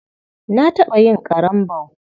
Na taɓa yin ƙarambau.